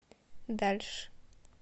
дальше